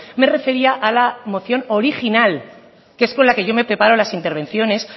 me refería a la moción original que es con la que yo me preparo las intervenciones